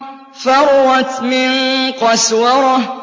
فَرَّتْ مِن قَسْوَرَةٍ